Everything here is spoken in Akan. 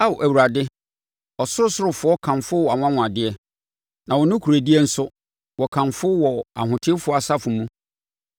Ao Awurade, ɔsorosorofoɔ kamfo wʼanwanwadeɛ, na wo nokorɛdie nso, wɔkamfo wɔ ahotefoɔ asafo mu.